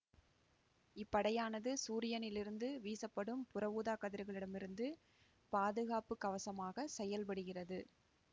இப்படையானது சூரியனில் இருந்து வீசப்படும் புற ஊதாக்கதிர்களிடமிருந்து பாதுகாப்பு கவசமாக செயற்படுகின்றது